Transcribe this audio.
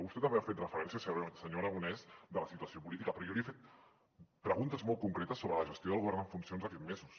vostè també ha fet referència senyor aragonès de la situació política però jo li he fet preguntes molt concretes sobre la gestió del govern en funcions aquests mesos